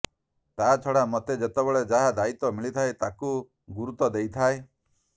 ତାଛଡ଼ା ମତେ ଯେତେବେଳେ ଯାହା ଦାୟିତ୍ୱ ମିଳିଥାଏ ତାକୁ ଗୁରୁତ୍ୱ ଦେଇଥାଏ